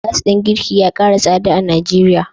Gas din girki ya kara tsada a Nigeria.